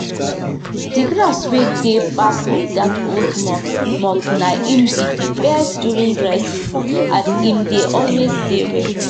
to dey give animal food chop together dey help small farmers wey no fit pay people to people to look after animal full time.